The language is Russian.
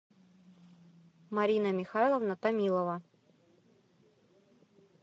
марина михайловна томилова